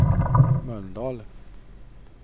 Mölndal